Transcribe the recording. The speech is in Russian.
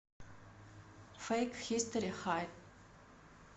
фэйк хистори хай